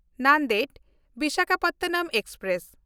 ᱱᱟᱱᱫᱮᱲ–ᱵᱤᱥᱟᱠᱷᱟᱯᱟᱴᱱᱟᱢ express